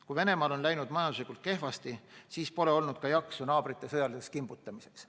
Kui Venemaal on läinud majanduslikult kehvasti, siis pole olnud ka jaksu naabrite sõjaliseks kimbutamiseks.